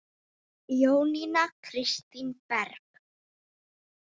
Jónína Kristín Berg.